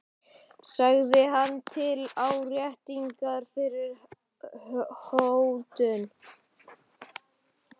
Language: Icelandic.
sagði hann til áréttingar fyrri hótun.